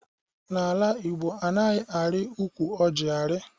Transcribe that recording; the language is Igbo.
N'ala Igbo, anaghị ari ụkwụ ọjị ari